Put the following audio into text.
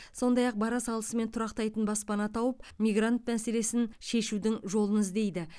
сондай ақ бара салысымен тұрақтайтын баспана тауып мигрант мәселесін шешудің жолын іздейді